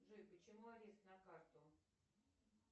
джой почему арест на карту